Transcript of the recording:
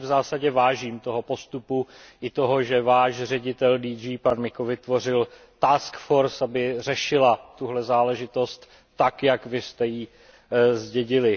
Já si v zásadě vážím toho postupu i toho, že váš ředitel GŘ, pan Miko, vytvořil task force aby řešila tuhle záležitost tak, jak vy jste ji zdědili.